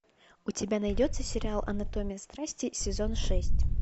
у тебя найдется сериал анатомия страсти сезон шесть